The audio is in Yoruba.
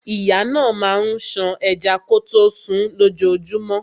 Ìyá náà máa ń ṣan ẹja kọtó sunún lójojúmọ́.